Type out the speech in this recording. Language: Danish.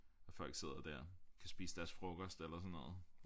Og folk sidder dér kan spise deres frokost eller sådan noget